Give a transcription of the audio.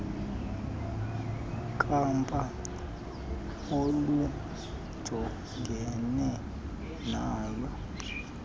kapa olujongene nayo